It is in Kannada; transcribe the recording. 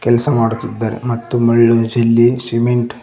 ಕೆಲ್ಸ ಮಾಡುತ್ತಿದ್ದಾರೆ ಮತ್ತು ಮರಳು ಜಲ್ಲಿ ಸಿಮೆಂಟ್ --